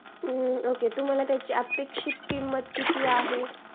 okay तुम्हाला त्याची अपेक्षित किंमत किती आहे